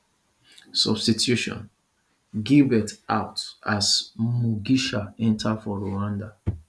substitution gibert out as mugisha enta for rwanda